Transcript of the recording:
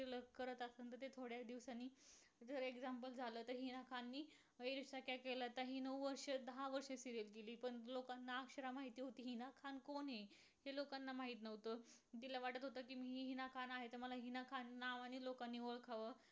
इत्यादी प्राणी व पक्ष आढळतातत वैशिष्ट्य